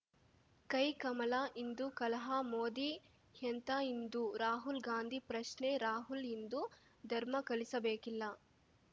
ಕೈಕಮಲ ಹಿಂದೂ ಕಲಹ ಮೋದಿ ಎಂಥಾ ಹಿಂದೂ ರಾಹುಲ್‌ ಗಾಂಧಿ ಪ್ರಶ್ನೆ ರಾಹುಲ್‌ ಹಿಂದೂ ಧರ್ಮ ಕಲಿಸಬೇಕಿಲ್ಲ